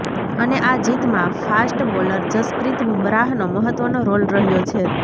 અને આ જીતમાં ફાસ્ટ બોલર જસપ્રીત બુમરાહનો મહત્વનો રોલ રહ્યો છે